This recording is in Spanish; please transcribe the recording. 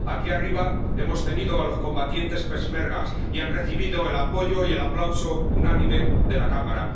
Aquí arriba hemos tenido a los combatientes peshmerga y han recibido el apoyo y el aplauso unánime de la Cámara.